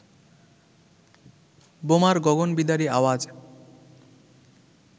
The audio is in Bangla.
বোমার গগনবিদারী আওয়াজ